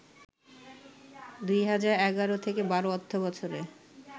২০১১-১২ অর্থবছরে